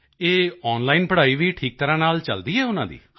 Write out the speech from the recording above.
ਇਹ ਆਨਲਾਈਨ ਪੜ੍ਹਾਈ ਵੀ ਠੀਕ ਤਰ੍ਹਾਂ ਨਾਲ ਚਲਦੀ ਹੈ ਉਨ੍ਹਾਂ ਦੀ